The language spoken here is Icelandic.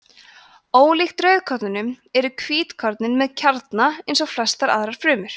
ólíkt rauðkornunum eru hvítkornin með kjarna eins og flestar aðrar frumur